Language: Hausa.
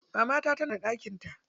Mamata tana da ɗakin ta.